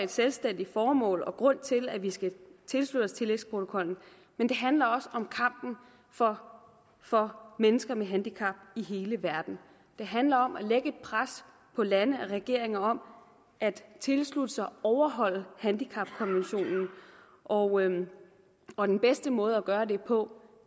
selvstændigt formål og grund til at vi skal tilslutte os tillægsprotokollen men det handler også om kampen for for mennesker med handicap i hele verden det handler om at lægge et pres på lande og regeringer om at tilslutte sig og overholde handicapkonventionen og og den bedste måde at gøre det på